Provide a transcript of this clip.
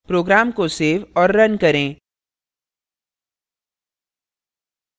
program को save और run करें